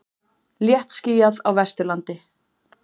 Léttskýjað á Vesturlandi